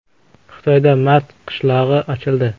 Xitoyda “Mars qishlog‘i” ochildi.